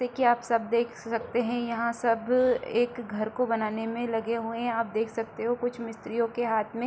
देखिये आप सब देख सकते हैं यहाँ सब एक घर को बनाने में लगे हुए हैं। आप देख सकते हो कुछ मिस्त्रीयो के हाथ में --